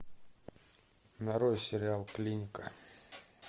нарой сериал клиника